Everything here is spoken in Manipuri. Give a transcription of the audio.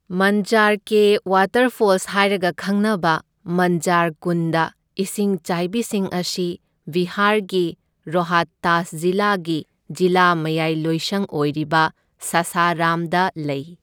ꯃꯟꯓꯥꯔ ꯀꯦ ꯋꯥꯇꯔꯐꯣꯜꯁ ꯍꯥꯏꯔꯒ ꯈꯪꯅꯕ ꯃꯟꯓꯥꯔ ꯀꯨꯟꯗ ꯏꯁꯤꯡꯆꯥꯏꯕꯤꯁꯤꯡ ꯑꯁꯤ ꯕꯤꯍꯥꯔꯒꯤ ꯔꯣꯍꯇꯥꯁ ꯖꯤꯂꯥꯒꯤ ꯖꯤꯂꯥ ꯃꯌꯥꯏꯂꯣꯏꯁꯪ ꯑꯣꯏꯔꯤꯕ ꯁꯥꯁꯥꯔꯥꯝꯗ ꯂꯩ꯫